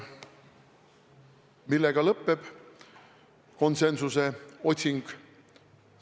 Millega lõpeb konsensuse otsing?